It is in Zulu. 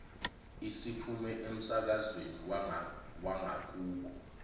isiphume emsakazweni wangakubo